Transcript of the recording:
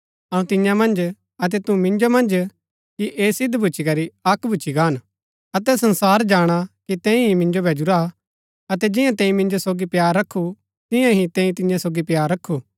अऊँ तियां मन्ज अतै तू मिन्जो मन्ज कि ऐह सिद्ध भूच्ची करी अक्क भूच्ची गान अतै संसार जाणा कि तैंई ही मिन्जो भैजुरा अतै जिंआ तैंई मिन्जो सोगी प्‍यार रखु तियां ही तैंई तियां सोगी प्‍यार रखु